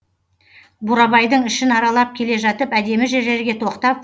бурабайдың ішін аралап келе жатып әдемі жерлерге тоқтап